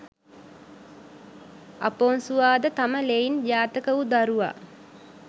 අපොන්සුවා ද තම ලෙයින් ජාතක වූ දරුවා